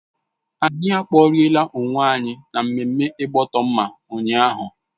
Anyi kporiela onwe anyi na mmemme igboto mma ụnyaahụ